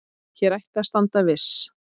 Hér ætti að standa viss.